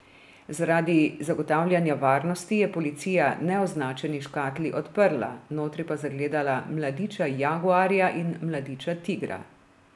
Zaradi zagotavljanja varnosti je policija neoznačeni škatli odprla, notri pa zagledala mladiča jaguarja in mladiča tigra.